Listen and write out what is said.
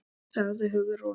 sagði Hugrún.